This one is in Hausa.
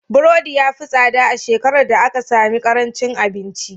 Burodi ya fi tsada a shekarar da aka sami ƙarancin abinci.